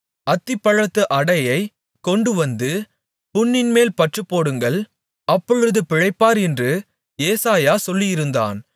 அத்திப்பழத்து அடையைக் கொண்டுவந்து புண்ணின்மேல் பற்றுப்போடுங்கள் அப்பொழுது பிழைப்பார் என்று ஏசாயா சொல்லியிருந்தான்